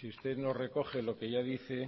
si usted nos recoge lo que ya dice